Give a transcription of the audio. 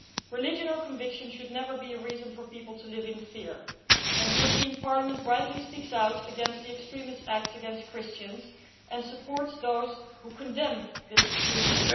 Religion or conviction should never be a reason for people to live in fear and the European Parliament rightly speaks out against the extremist acts against Christians and supports those who condemn this extremism.